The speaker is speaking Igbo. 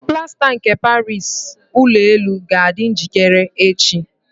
Plasta nke Paris Ụlọ elu ga-adị njikere echi.